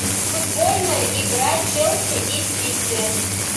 футбольная игра челси и сити